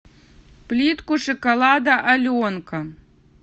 плитку шоколада аленка